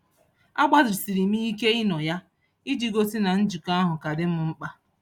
A gbalịsiri m ike ịnọ ya, iji gosi na njikọ ahụ ka dị m mkpa.